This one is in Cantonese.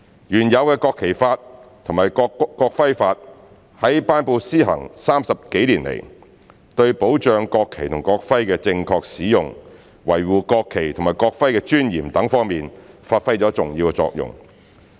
原有的《國旗法》及《國徽法》在頒布施行30多年來，對保障國旗及國徽的正確使用，維護國旗及國徽的尊嚴等方面發揮了重要作用。